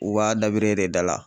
U b'a dabiri e de dala